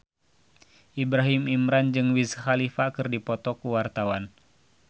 Ibrahim Imran jeung Wiz Khalifa keur dipoto ku wartawan